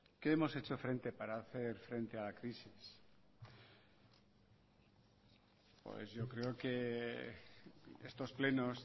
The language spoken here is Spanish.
qué hemos hecho para hacer frente a la crisis pues yo creo que estos plenos